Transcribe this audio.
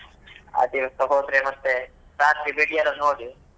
ಆ ದಿವಸ ಹೋದ್ರೆ ಮತ್ತೆ ರಾತ್ರಿ ಬೆಡಿ ಯೆಲ್ಲ ನೋಡಿ,